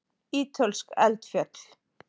Ítölsk eldfjöll.